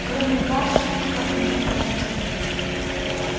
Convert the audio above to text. кроме вас как мне кажется